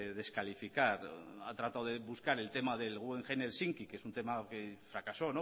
descalificar ha tratado de buscar el tema del guggenheim helsinki que es un tema que fracasó